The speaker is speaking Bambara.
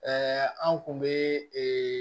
anw kun bɛ ee